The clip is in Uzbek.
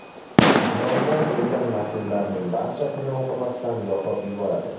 Kamrondan kelgan maktublarning barchasini o‘qimasdan yoqib yuboradi.